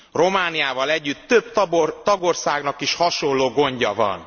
Romániával együtt több tagországnak is hasonló gondja van.